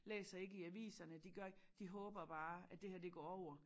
Læser ikke i aviserne de gør ikke de håber bare at det her det går over